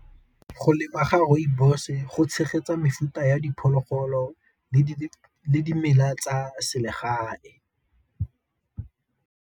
Go lema ga rooibos go tshegetsa mefuta ya diphologolo le dimela tsa se legae.